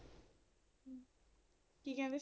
ਕੀ ਕਹਿੰਦੇ